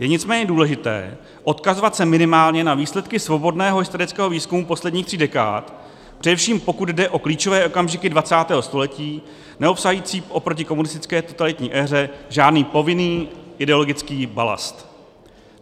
Je nicméně důležité odkazovat se minimálně na výsledky svobodného historického výzkumu posledních tří dekád, především pokud jde o klíčové okamžiky 20. století, neobsahující oproti komunistické totalitní éře žádný povinný ideologický balast.